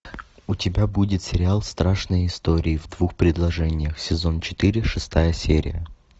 у тебя будет сериал страшные истории в двух предложениях сезон четыре шестая серия